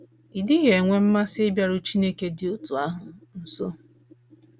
Ị́ dịghị enwe mmasị ịbịaru Chineke dị otú ahụ nso?